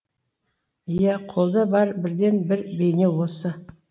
иә қолда бар бірден бір бейне осы